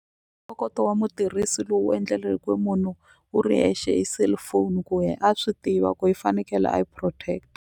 Ntokoto wa mutirhisi lowu endleliweke munhu wu ri hexe hi cellphone ku ye a swi tiva ku i fanekele a yi protect.